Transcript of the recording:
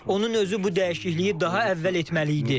Onun özü bu dəyişikliyi daha əvvəl etməli idi.